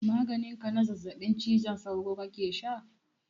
Maganin ka na zazzabin cizon sauro kake sha?